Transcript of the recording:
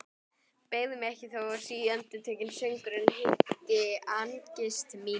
Beygi mig ekki þótt síendurtekinn söngurinn heimti angist mína.